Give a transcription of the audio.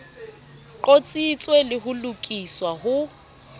qotsitswe le ho lokiswa ho